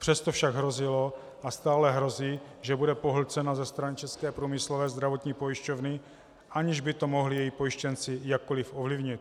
Přesto však hrozilo a stále hrozí, že bude pohlcena ze strany České průmyslové zdravotní pojišťovny, aniž by to mohli její pojištěnci jakkoliv ovlivnit.